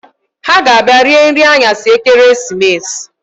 Ha ga-abia rie nri aṅyasị ekeresimesi